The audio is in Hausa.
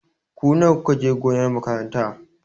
Ku nawa ku ka je gonar makaranta?